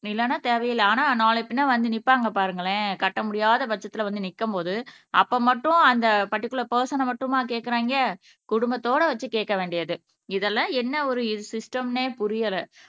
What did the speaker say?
இல்லன்னா தேவையில்லை ஆனா நாளை பின்ன வந்து நிப்பாங்க பாருங்களேன் கட்ட முடியாத பட்சத்துல வந்து நிக்கும்போது அப்ப மட்டும் அந்த பர்டிகுலர் பர்சன மட்டுமா கேக்குறாங்க குடும்பத்தோட வச்சு கேட்க வேண்டியது இதெல்லாம் என்ன ஒரு சிஸ்டம்ன்னே புரியல